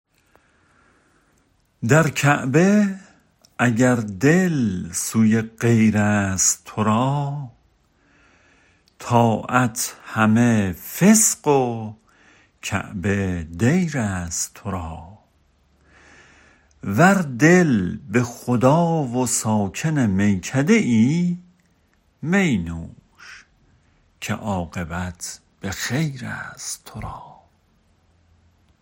در کعبه اگر دل سوی غیرست تو را طاعت همه فسق و کعبه دیرست تو را ور دل به خدا و ساکن میکده ای می نوش که عاقبت به خیرست تو را